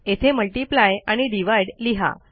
येथे आणि लिहा